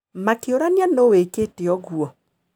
Makĩũrania nũũ wĩkĩte ũguo.